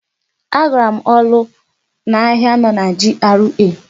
Agara m n'ụlọ ahịa nọ na GRA.